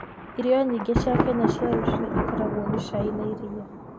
Irio nyingĩ cia Kenya cia rũcinĩ ikoragwo na cai na iria.